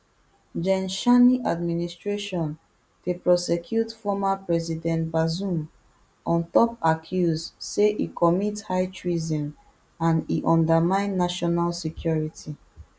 gen tchiani administration dey prosecute former president bazoum on top accuse say e commit high treason and e undermine national security